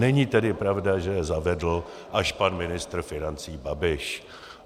Není tedy pravda, že je zavedl až pan ministr financí Babiš.